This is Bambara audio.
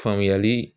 Faamuyali